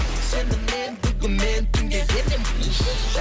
сенімен бүгін мен түнге енеміз уф